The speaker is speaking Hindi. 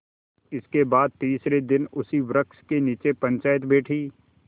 इसके बाद तीसरे दिन उसी वृक्ष के नीचे पंचायत बैठी